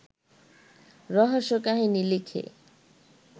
রহস্যকাহিনী লিখে